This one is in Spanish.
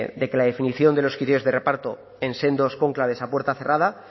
de que la definición de los criterios de reparto en sendos cónclaves a puerta cerrada